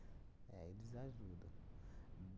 É, eles ajudam.